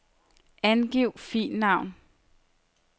Angiv filnavn.